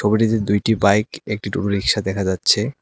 দুটি বাইক একটি টোটো রিক্সা দেখা যাচ্ছে।